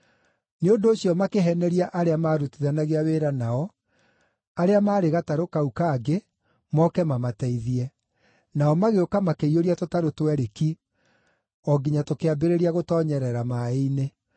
Nĩ ũndũ ũcio makĩheneria arĩa maarutithanagia wĩra nao, arĩa maarĩ gatarũ kau kangĩ moke mamateithie, nao magĩũka makĩiyũria tũtarũ twerĩ ki, o nginya tũkĩambĩrĩria gũtoonyerera maaĩ-inĩ.